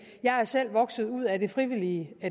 jeg er selv vokset ud af det frivillige